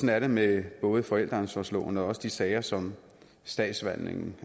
er det med både forældreansvarsloven og også de sager som statsforvaltningen